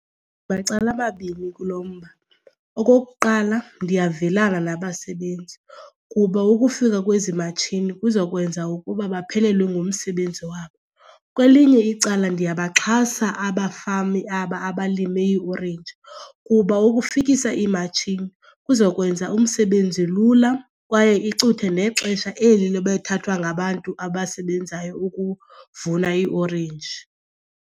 Macala amabini kulo mba. Okokuqala, ndiyavelana nabasebenzi kuba ukufika kwezi matshini kuza kwenza ukuba baphelelwe ngumsebenzi wabo. Kwelinye icala ndiyabaxhasa abafami aba abalime iiorenji kuba ukufikisa iimatshini kuza kwenza umsebenzi lula kwaye icuthe nexesha eli lebethathwa ngabantu abasebenzayo ukuvuna iiorenji.